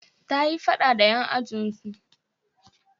Ta yi faɗa da 'yan ajin su